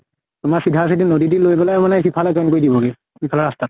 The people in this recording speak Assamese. তোমাৰ চিধা চিধি নদী দি লৈ গলে মানে সিফালে join কৰি দিব গে। সিফালৰ ৰাস্তাত।